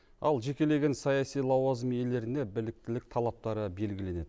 ал жекелеген саяси лауазым иелеріне біліктілік талаптары белгіленеді